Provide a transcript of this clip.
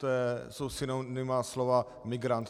To jsou synonyma slova migrant.